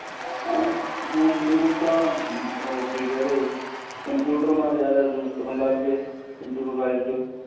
ਏਵੈ ਹੁਣ ਨੀ ਹੁਣ ਤਾਂ ਉਹ ਕੀ ਕਿਹਲੋ computer ਨਾਲ ਜ਼ਿਆਦਾ use ਕਰਨ ਲੱਗ ਗੇ computerized